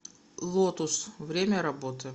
лотус время работы